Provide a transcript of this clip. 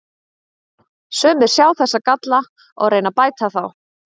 Sumir sjá þessa galla og reyna að bæta þá.